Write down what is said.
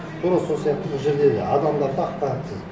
тура сол сияқты бұл жерде енді адамдар да ақпаратсыз